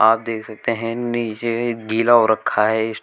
आप देख सकते हैं नीचे गीला हो रखा है स्टैं--